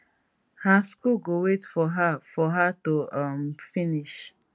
her school go wait for her for her to um finish